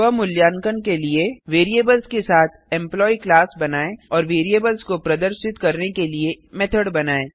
स्व मूल्यांकन के लिए वैरिएबल्स के साथ एम्प्लॉयी क्लास बनाएँ और वैरिएबल्स को प्रदर्शित करने के लिए मेथड बनाएँ